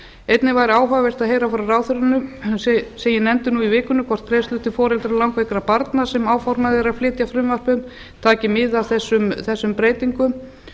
einnig væri áhugavert að heyra frá ráðherranum sem ég nefndi nú í vikunni hvort greiðslur til foreldra langveikra barna sem áformað er að flytja frumvarp um taki mið af þessum breytingum